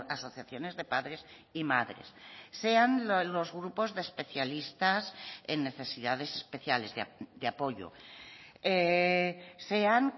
asociaciones de padres y madres sean los grupos de especialistas en necesidades especiales de apoyo sean